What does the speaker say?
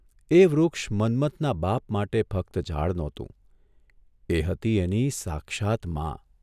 એ વૃક્ષ મન્મથના બાપ માટે ફક્ત ઝાડ નહોતું એ હતી એની સાક્ષાત મા !